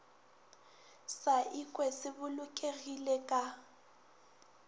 sa ikwe se bolokegile ka